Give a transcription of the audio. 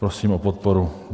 Prosím o podporu.